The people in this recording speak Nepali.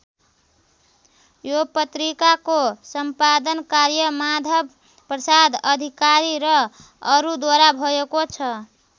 यो पत्रिकाको सम्पादन कार्य माधव प्रसाद अधिकारी र अरूद्वारा भएको छ।